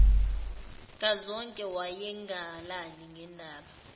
kazonke wayengalali nendaba